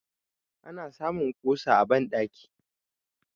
ana samun kusa a bandaki